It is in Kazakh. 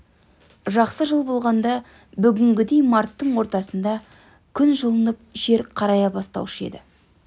жақсы жыл болғанда бүгінгідей марттың ортасында күн жылынып жер қарая бастаушы еді